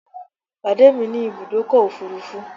Pàdé mi ní Ibùdọ́kọ̀ òfurufú